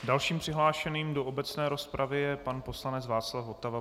Dalším přihlášeným do obecné rozpravy je pan poslanec Václav Votava.